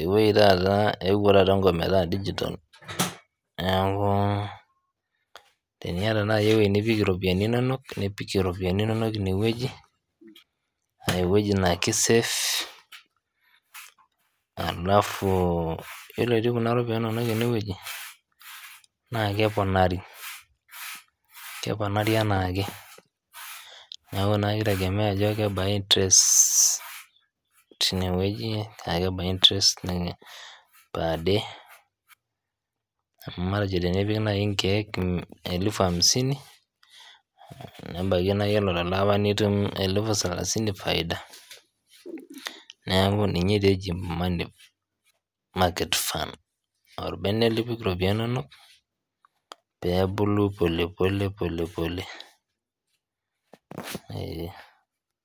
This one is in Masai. eweji taata euwo taata enkop metaa digital nnaaku tenieta taata iye eweji nipik iropiyiani inonok nioikie iropiyiani inonok ineweji aa eweji naa kesafe alafu iyolo etii kuna iropiyani inonok eneweji naa keponari anaake, naaku naa keitegemean ajo kebaa interest teine weji aa kebaa interest per day amu matejo tenipik nai inkeek elfu hamsini nebaki naa iyolo nte lapa naa itum elfu salasini faida nekau ninye taa eji money market fund orbene lipik iropiyiani inonok peebulu pole pole pole pole.